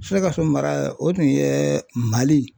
Sikasomara o tun ye MALI